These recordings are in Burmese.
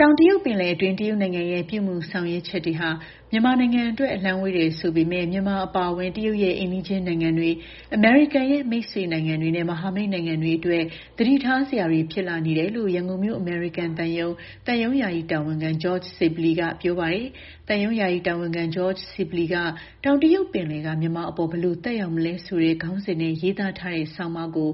တောင်တရုတ်ပင်လယ်အတွင်း တရုတ်နိုင်ငံရဲ့ ပြုမူဆောင်ရွက်ချက်တွေဟာ မြန်မာနိုင်ငံအတွက် အလှမ်းဝေးတယ် ဆိုပေမယ့် မြန်မာအပါအဝင် တရုတ်ရဲ့ အိမ်နီးနားချင်းနိုင်ငံတွေ၊ အမေရိကန်ရဲ့ မိတ်ဆွေနိုင်ငံတွေနဲ့ မဟာမိတ်နိုင်ငံတွေအတွက် သတိထားစရာတွေ ဖြစ်လာနေတယ်လို့ ရန်ကုန်မြို့ အမေရိကန်သံရုံး၊ သံရုံး ယာယီတာဝန်ခံ George Sibley က ပြောပါတယ်။ သံရုံးယာယီတာဝန်ခံ George Sibley က တောင်တရုတ်ပင်လယ်က မြန်မာအပေါ် ဘယ်လိုသက်ရောက်မလဲဆိုတဲ့ ခေါင်းစဉ်နဲ့ ရေးသားထားတဲ့ ဆောင်းပါးကို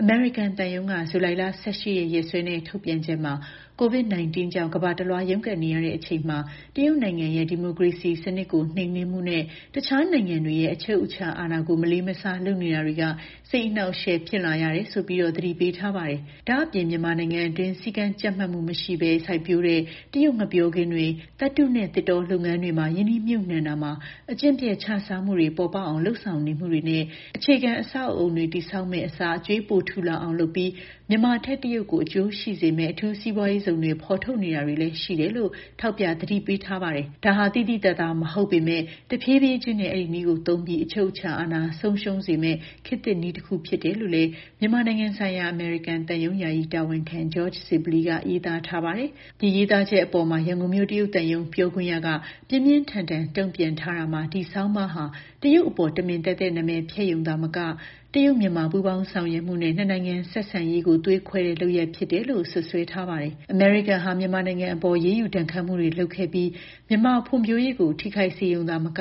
အမေရိကန်သံရုံးက ဇူလိုင် ၁၈ ရက် ရက်စွဲနဲ့ ထုတ်ပြန်ချက်မှာ COVID-19 ကြောင့် ကမ္ဘာတလွှား ရုန်းကန်နေရချိန်မှာ တရုတ်နိုင်ငံရဲ့ ဒီမိုကရေစီစနစ်ကို နှိမ်နင်းမှုနဲ့ တခြားနိုင်ငံတွေရဲ့ အချုပ်အခြာ အာဏာကို မလေးမစား လုပ်နေတာတွေက စိတ်အနှောင့်အယှက် ဖြစ်လာရတယ်ဆိုပြီး သတိပေးထားပါတယ်။ ဒါ့အပြင် မြန်မာနိုင်ငံအတွင်း စည်းကမ်းကြပ်မတ်မှုမရှိဘဲ စိုက်ပျိုးတဲ့ တရုတ် ငှက်ပျောခင်းတွေ၊ သတ္တုနဲ့ သစ်တောလုပ်ငန်းတွေမှာ ရင်းနှီးမြှုပ်နှံရာမှာ အကျင့်ပျက် ခြစားမှုတွေ ပေါ်ပေါက်အောင် လုပ်ဆောင်နေမှုတွေနဲ့ အခြေခံ အဆောက်အအုံတွေ တည်ဆောက်မယ့်အစား အကြွေးပိုထူလာအောင်လုပ်ပြီး မြန်မာထက် တရုတ်ကို အကျိုးရှိစေမယ့် အထူးစီးပွားရေးဇုန်တွေ ဖော်ထုတ်နေတာတွေ ရှိနေတယ်လို့လည်း ထောက်ပြ သတိပေးထားပါတယ်။ ဒါဟာ သိသိသာသာ မဟုတ်ပေမယ့် တဖြည်းဖြည်းချင်းနဲ့ အဲဒီနည်းသုံးပြီး အချုပ်အခြာအာဏာ ဆုံးရှုံးစေမယ့် ခေတ်သစ်နည်းတခု ဖြစ်တယ်လို့လည်း မြန်မာနိုင်ငံဆိုင်ရာ အမေရိကန်သံရုံး ယာယီတာဝန်ခံ George Sibley က ရေးပါတယ်။ ဒီရေးသားချက်အပေါ်မှာ ရန်ကုန်မြို့ တရုတ်သံရုံး ပြောခွင့်ရသူက ပြင်းပြင်းထန်ထန် တုံ့ပြန်ထားရာမှာ ဒီဆောင်းပါးဟာ တရုတ်အပေါ် တမင်သက်သက် နာမည်ဖျက်ရုံသာမကဘဲ တရုတ်-မြန်မာ ပူးပေါင်းဆောင်ရွက်မှုနဲ့ နှစ်နိုင်ငံ ဆက်ဆံရေးကို သွေးခွဲတဲ့လုပ်ရပ်လို့ စွပ်စွဲထားပါတယ်။ အမေရိကန်ဟာ မြန်မာနိုင်ငံအပေါ် အရေးယူဒဏ်ခတ်မှုတွေ လုပ်ခဲ့ပြီး မြန်မာဖွံ့ဖြိုးရေးကို ထိခိုက်စေရုံမက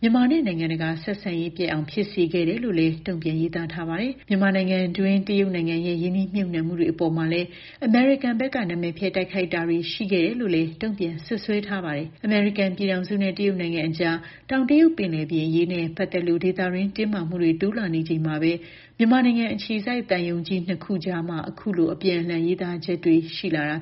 မြန်မာနဲ့ နိုင်ငံတကာ ဆက်ဆံရေးပျက်အောင် ဖြစ်စေခဲ့တယ်လို့လည်း တုံ့ပြန် ရေးသားထားပါတယ်။ မြန်မာနိုင်ငံတွင်း တရုတ်နိုင်ငံရဲ့ ရင်းနှီးမြှုပ်နှံမှုတွေ အပေါ်မှာလည်း အမေရိကန်ဘက်က နာမည်ဖျက် တိုက်ခိုက်တာတွေ ရှိခဲ့တယ်လို့ တုံ့ပြန် စွပ်စွဲထားပါတယ်။ အမေရိကန်ပြည်ထောင်စုနဲ့ တရုတ်နိုင်ငံအကြား တောင်တရုတ်ပင်လယ်ပြင် အရေးနဲ့ ပတ်သက်လို့ ဒေသတွင်း တင်းမာမှုတွေ တိုးလာချိန်မှာပဲ မြန်မာနိုင်ငံအခြေစိုက် သံရုံးကြီးနှစ်ခုအကြား အခုလို အပြန်အလှန် ရေးသားချက်တွေ ဖြစ်လာတာ